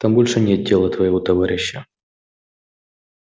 там больше нет тела твоего товарища